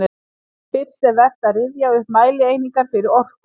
Fyrst er vert að rifja upp mælieiningar fyrir orku.